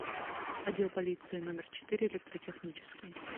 отдел полиции номер четыре электротехнический